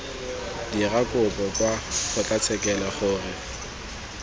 dira kopo kwa kgotlatshekelo gore